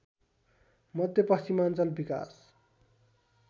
मध्यपश्चिमाञ्चल विकास